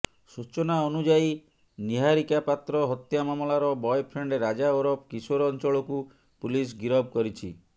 ସୂଚନା ଅନୁଯାୟୀ ନିହାରୀକା ପାତ୍ର ହତ୍ୟା ମାମଲାର ବୟଫ୍ରେଣ୍ଡ୍ ରାଜା ଓରଫ କିଶୋର ଅଞ୍ଚଳକୁ ପୁଲିସ ଗିରଫ କରିଛି